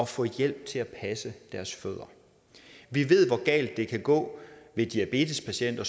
for hjælp til at passe deres fødder vi ved hvor galt det kan gå ved diabetespatienter